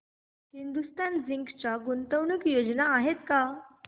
Hindustan Zinc च्या गुंतवणूक योजना आहेत का